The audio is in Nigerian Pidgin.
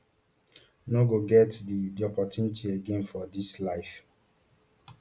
no go get di di opportunity again for dis life